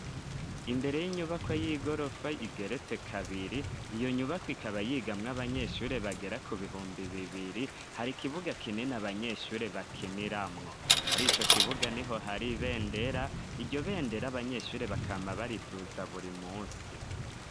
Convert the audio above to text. Imbere y'inyubako y'igorofa igeretse kabiri. Iyo nyubako ikaba yigamwo abanyeshuri bagera ku bihumbi bibiri hari kibuga kinini abanyeshure bakiniramwo muri ico kibuga ni ho hari bendera iryo bendera abanyeshure bakama bariduza buri musi.